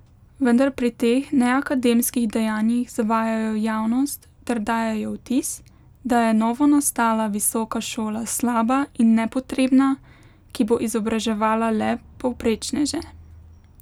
Vendar pri teh neakademskih dejanjih zavajajo javnost ter dajejo vtis, da je novonastala visoka šola slaba in nepotrebna, ki bo izobraževala le povprečneže.